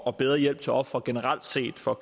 og bedre hjælp til ofre generelt set for